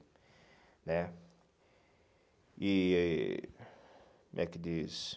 né E, como é que diz?